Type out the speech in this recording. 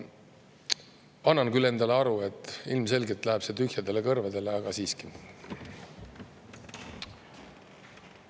Annan küll endale aru, et ilmselgelt läheb see jutt kurtidele kõrvadele, aga siiski.